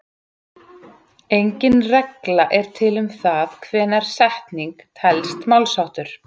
Engin regla er til um það hvenær setning telst málsháttur.